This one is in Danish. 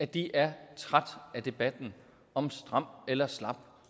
de er trætte af debatten om stram eller slap